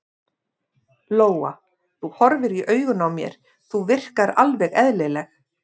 Lóa: Þú horfir í augun á mér, þú virkar alveg eðlileg?